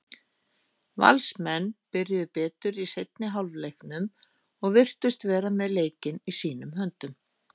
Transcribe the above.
Valsmenn byrjuðu betur í seinni hálfleiknum og virtust vera með leikinn í sínum höndum.